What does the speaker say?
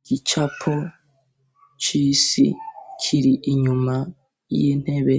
Igicapo c'isi kiri inyuma y'intebe